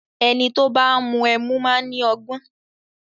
Ẹni tó bá ń mú ẹmu máa ni ọgbọ́n.